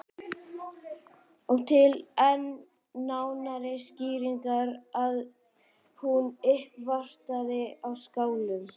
Og til enn nánari skýringar að hún uppvartaði á Skálanum.